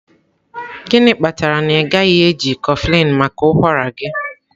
gịnị kpatara na ị gaghị eji kofflin maka ụkwara gị?